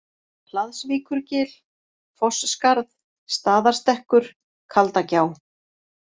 Hlaðsvíkurgil, Fossskarð, Staðarstekkkur, Kaldagjá